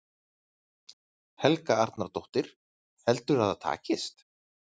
Helga Arnardóttir: Heldurðu að það takist?